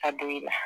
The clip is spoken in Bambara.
A don i la